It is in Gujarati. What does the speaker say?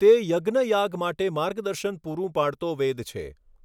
તે યજ્ઞયાગ માટે માર્ગદર્શન પૂરું પાડતો વેદ છે.